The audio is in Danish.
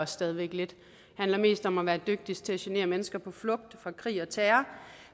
stadig væk mest om at være dygtig til at genere mennesker på flugt fra krig og terror